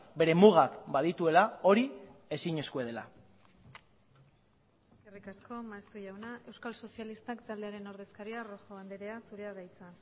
bere mugak badituela hori ezinezkoa dela eskerrik asko maeztu jauna euskal sozialistak taldearen ordezkaria rojo andrea zurea da hitza